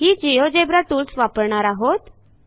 ही GeoGebra tools वापरणार आहोत